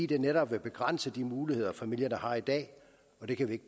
vil netop begrænse de muligheder familierne har i dag og det kan vi